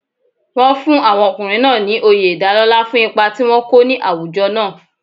Wọ́n fún àwọn ọkùnrin náà ní oyè ìdálọ́lá fún ipa tí wọ́n kó ní àwùjọ náà.